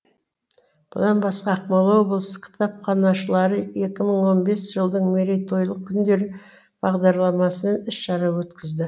бұдан басқа ақмола облысы кітапханашылары екі мың он бес жылдың мерейтойлық күндері бағдарламасын іс шара өткізеді